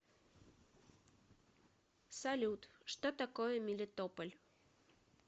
салют что такое мелитополь